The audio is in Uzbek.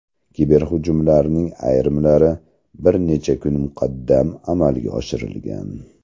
Kiberhujumlarning ayrimlari bir necha kun muqaddam amalga oshirilgan.